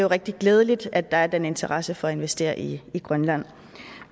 rigtig glædeligt at der er den interesse for at investere i grønland